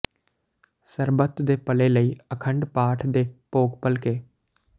ਸਰਬੱਤ ਦੇ ਭਲੇ ਲਈ ਅਖੰਡ ਪਾਠ ਦੇ ਭੋਗ ਭਲਕੇ